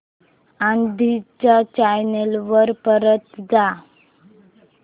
आधी च्या चॅनल वर परत जा